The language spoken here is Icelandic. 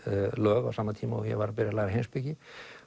lög á sama tíma og ég var að byrja að læra heimspeki